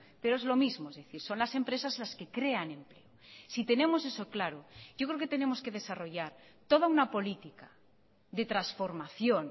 pero es lo mismo es decir son las empresas las que crean empleo si tenemos eso claro yo creo que tenemos que desarrollar toda una política de transformación